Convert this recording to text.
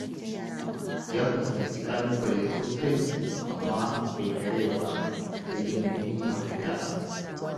Ya fuskanci ƙalubale sosai, amma bai karaya ba, sai ya nemi mafita.